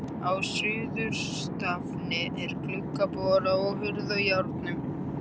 Á suðurstafni er gluggabora og hurð á járnum.